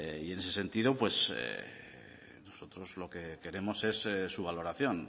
y en ese sentido nosotros lo que queremos es su valoración